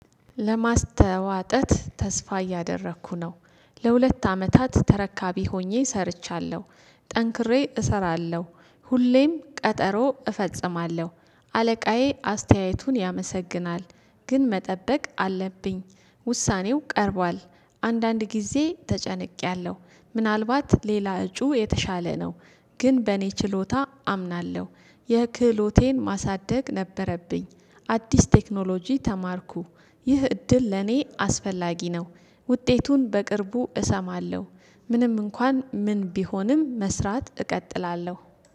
ለማስተዋጠት ተስፋ እያደረኩ ነው ለሁለት አመታት ተረካቢ ሆኜ ሰርቻለሁ። ጠንክሬ እሰራለሁ ሁሌም ቀጠሮ እፈጽማለሁ። አለቃዬ አስተያየቱን ያመሰግናል ግን መጠበቅ አለብኝ ውሳኔው ቀርቧል። አንዳንድ ጊዜ ተጨንቄያለሁ ምናልባት ሌላ እጩ የተሻለ ነው ግን በእኔ ችሎታ አምናለሁ። የክህሎቴን ማሳደግ ነበረብኝ አዲስ ቴክኖሎጂ ተማርኩ። ይህ እድል ለኔ አስፈላጊ ነው ውጤቱን በቅርቡ እሰማለሁ ምንም እንኳን ምን ቢሆንም መስራት እቀጥላለሁ